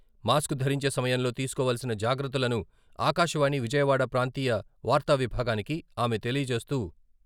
Mask ధరించే సమయంలో తీసుకోవలసిన జాగ్రత్తలను ఆకాశవాణి విజయవాడ ప్రాంతీయ వార్తావిభాగానికి ఆమె తెలియజేస్తూ.